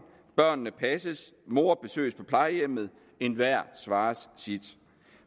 børnene passes mor besøges på plejehjemmet enhver svarer sit